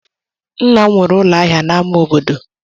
Nna m nwere ụlọ ahịa n'amá obodo.